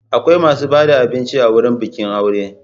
Akwai masu ba da abinci a wurin bikin aure.